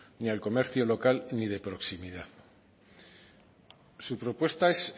ni al comercio local ni de proximidad su propuesta es